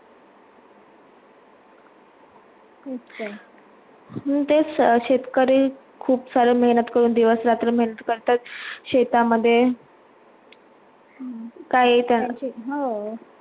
तेच शेतकरी खूप सारी मेहनत करून दिवस रात्र मेहनत करतात शेतामध्ये काय त्याना